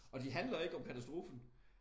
Og de handler ikke om katastrofen